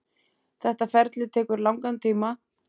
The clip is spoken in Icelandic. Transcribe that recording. Þetta ferli tekur langan tíma.